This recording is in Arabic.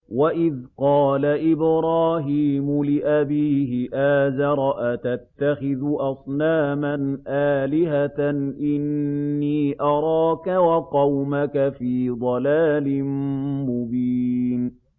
۞ وَإِذْ قَالَ إِبْرَاهِيمُ لِأَبِيهِ آزَرَ أَتَتَّخِذُ أَصْنَامًا آلِهَةً ۖ إِنِّي أَرَاكَ وَقَوْمَكَ فِي ضَلَالٍ مُّبِينٍ